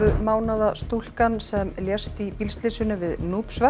mánaða stúlkan sem lést í bílslysinu við